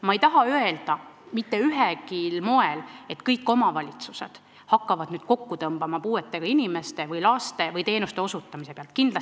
Ma ei taha mitte ühelgi moel öelda, et kõik omavalitsused hakkavad nüüd puudega inimestele või lastele teenuste osutamise pealt kokku hoidma.